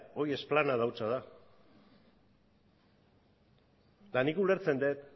hori esplanada hutsa da eta nik ulertzen dut